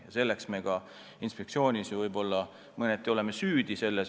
Ja selles on mõneti "süüdi" ehk ka inspektsioon.